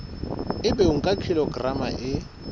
ebe o nka kilograma e